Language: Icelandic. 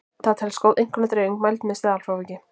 Það telst góð einkunnadreifing mæld með staðalfráviki.